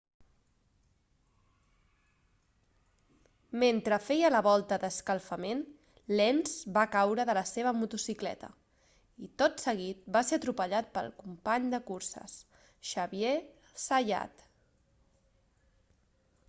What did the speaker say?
mentre feia la volta d'escalfament lenz va caure de la seva motocicleta i tot seguit va ser atropellat pel company de curses xavier zayat